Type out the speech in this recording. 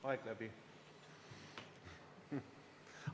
Aeg läbi.